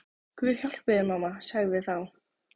Guð hjálpi þér mamma, sagði þá